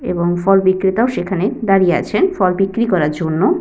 এবং ফল বিক্রেতাও সেখানে দাঁড়িয়ে আছেন ফল বিক্রি করার জন্য।